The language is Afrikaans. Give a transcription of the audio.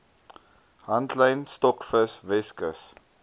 handlyn stokvis weskus